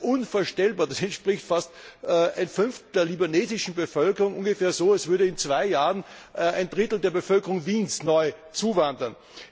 Unvorstellbar, das entspricht fast einem Fünftel der libanesischen Bevölkerung! Das ist ungefähr so, als würde in zwei Jahren ein Drittel der Bevölkerung Wiens neu zuwandern.